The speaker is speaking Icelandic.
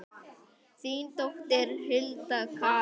Þín dóttir, Hulda Karen.